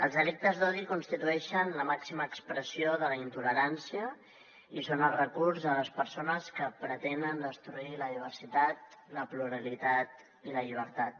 els delictes d’odi constitueixen la màxima expressió de la intolerància i són el recurs de les persones que pretenen destruir la diversitat la pluralitat i la llibertat